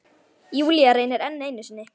Júlía reynir enn einu sinni.